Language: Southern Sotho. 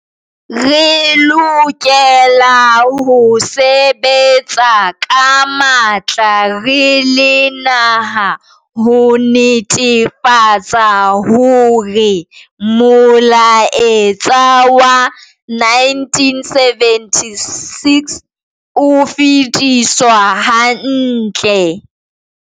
Re lokela ho sebetsa ka matla re le naha ho netefatsa hore molaetsa wa 1976 o fetiswa hantle.